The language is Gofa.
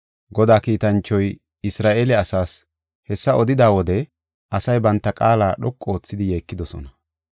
Godaa kiitanchoy Isra7eele asaas hessa odida wode asay banta qaala dhoqu oothidi yeekidosona.